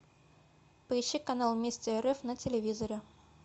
поищи канал вместе рф на телевизоре